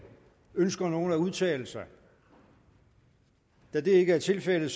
ønsker nogen at udtale sig da det ikke er tilfældet